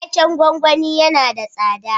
Waken gwagwani yana da tsada.